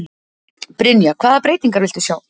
Brynja: Hvaða breytingar viltu sjá?